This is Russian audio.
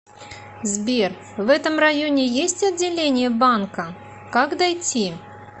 сбер в этом районе есть отделение банка как дойти